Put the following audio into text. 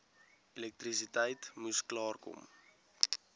elektrisiteit moes klaarkom